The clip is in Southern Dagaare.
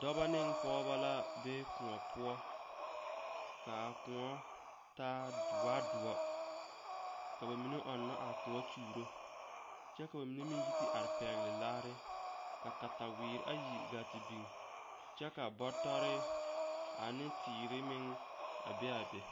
Dɔba ne pɔgeba la be koɔ poɔ kaa koɔ taa doaa doɔ ka ba mine meŋ ɔŋna a koɔ kyuuro kyɛ ka ba mine meŋ yi te are pɛgle laare ka kataweere ayi gaa te biŋ kyɛ ka bɔtɔre ane teere meŋ a be a be.